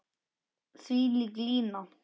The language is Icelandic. Þvílík lína.